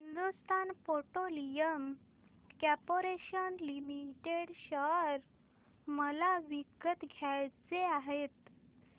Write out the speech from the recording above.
Hindustan petroleum corporation limited share मला विकत घ्यायचे आहेत